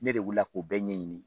Ne de wulila k'o bɛɛ ɲɛɲini.